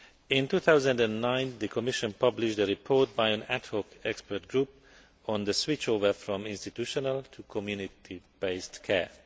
In 2009, the Commission published a report by an ad hoc expert group on the switchover from institutional to community based care.